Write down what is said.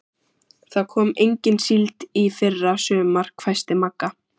Það kom engin síld í fyrra sumar, hvæsti Magga.